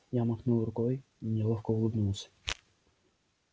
я махнул рукой неловко улыбнулся